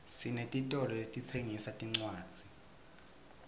sinetitolo letitsengisa tincwadzi